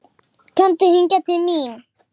Komdu hingað til mín.